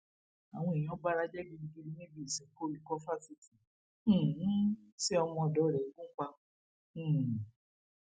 àwọn èèyàn bara jẹ gidigidi níbi ìsìnkú olùkọ fásitì um tí ọmọọdọ rẹ gùn pa um